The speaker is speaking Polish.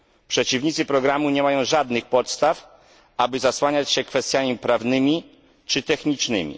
Przeciwnicy programu nie mają żadnych podstaw, aby zasłaniać się kwestiami prawnymi czy technicznymi.